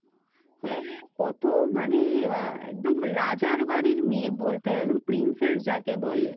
হ্যা কতোও মানে একদম রাজার বাড়ীর মেয়ে বলতে হয়, একদম princess যাকে বলে।